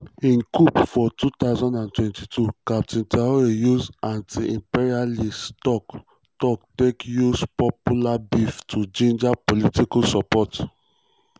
im coup for 2022 captain traoré use anti-imperialist tok-tok take use popular beef to ginger political support.